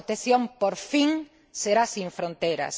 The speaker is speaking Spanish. La protección, por fin, será sin fronteras.